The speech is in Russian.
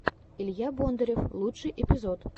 илья бондарев лучший эпизод